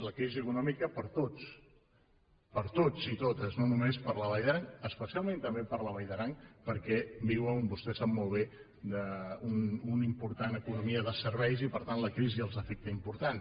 la crisi econòmica per a tots per a tots i totes no només per a la vall d’aran especialment també per a la vall d’aran perquè viuen vostè ho sap molt bé d’una important economia de serveis i per tant la crisi els afecta de manera important